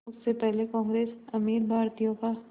उससे पहले कांग्रेस अमीर भारतीयों का